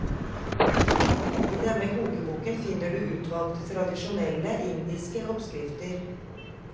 I denne kokeboken finner du utvalgte tradisjonelle, indiske oppskrifter.